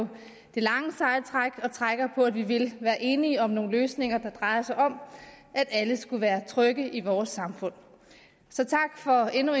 det lange seje træk og trækker på at vi vil være enige om nogle løsninger der drejer sig om at alle skal være trygge i vores samfund så tak for endnu